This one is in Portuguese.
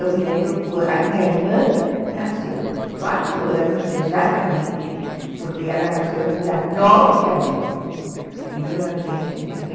Eu me lembro que a minha irmã nasceu quatro anos, exatamente, porque ela nasceu no dia nove de abril de mil novecentos e trinta